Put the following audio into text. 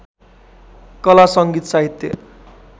कला सङ्गीत साहित्य